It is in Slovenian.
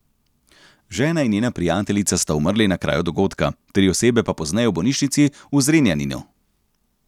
Žena in njena prijateljica sta umrli na kraju dogodka, tri osebe pa pozneje v bolnišnici v Zrenjaninu.